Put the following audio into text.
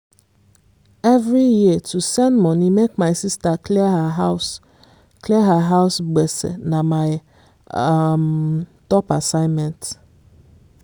every year to send money make my sister clear her house clear her house gbese na my um top assignment